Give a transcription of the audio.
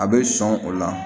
A bɛ sɔn o la